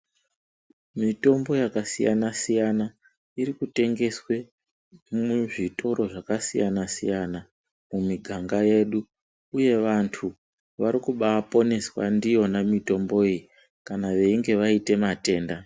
Mitombo yakasiyana siyana iri kutengeswe muzvitoro zvakasiyana siyana mumiganga yedu uye vanthu vari kubaaponeswa ndiyona mitombo iyi kana veinge vaite matenda.